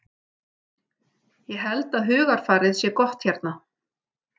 Ég held að hugarfarið sé gott hérna.